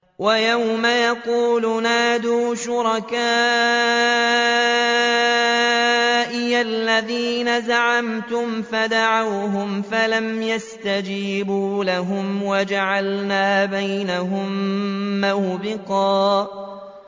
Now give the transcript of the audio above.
وَيَوْمَ يَقُولُ نَادُوا شُرَكَائِيَ الَّذِينَ زَعَمْتُمْ فَدَعَوْهُمْ فَلَمْ يَسْتَجِيبُوا لَهُمْ وَجَعَلْنَا بَيْنَهُم مَّوْبِقًا